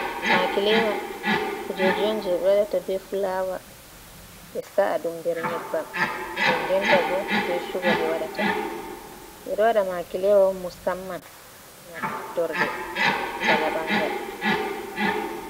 Makilewa kujeji on je ɓe waɗata be fulawa be sa’a ɗum nder nyebbam, nden denta bo be suga ɓe waɗata.. Ɓeɗo waɗa makilewa musamman ngam maftorde bana ɓangal.